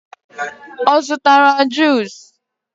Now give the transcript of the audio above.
ọ zụtara juusu?